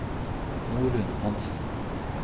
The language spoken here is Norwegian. Norunn Hanssen